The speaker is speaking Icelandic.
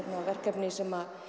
verkefni sem